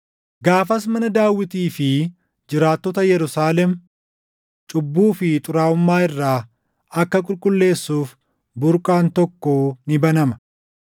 “Gaafas mana Daawitii fi jiraattota Yerusaalem cubbuu fi xuraaʼummaa irraa akka qulqulleessuuf burqaan tokko ni banama.